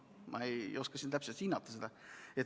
Ma ei oska siin seda täpselt hinnata.